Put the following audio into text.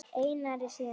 Einari, síðan sér.